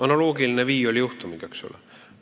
Analoogiline Viioli juhtumiga, eks ole!